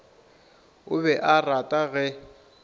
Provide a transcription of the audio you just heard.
o be a rata ge